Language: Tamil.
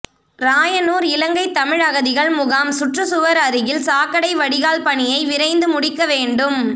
ராயனூர் இலங்கை தமிழ் அகதிகள் முகாம் சுற்று சுவர் அருகில் சாக்கடை வடிகால் பணியை விரைந்து முடிக்க வேண்டும்